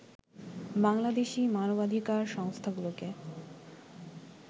বাংলাদেশি মানবাধিকার সংস্থাগুলোকে